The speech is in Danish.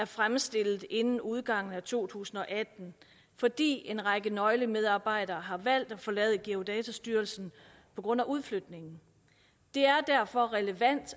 fremstillet inden udgangen af to tusind og atten fordi en række nøglemedarbejdere har valgt at forlade geodatastyrelsen på grund af udflytning det er derfor relevant at